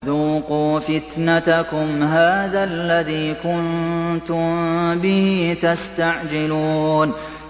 ذُوقُوا فِتْنَتَكُمْ هَٰذَا الَّذِي كُنتُم بِهِ تَسْتَعْجِلُونَ